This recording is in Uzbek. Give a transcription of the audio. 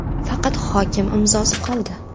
Faqat hokim imzosi qoldi.